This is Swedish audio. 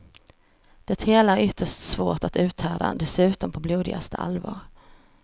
Det hela är ytterst svårt att uthärda, dessutom på blodigaste allvar.